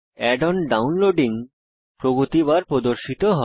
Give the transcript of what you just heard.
add on downloading প্রগতি bar প্রদর্শিত হয়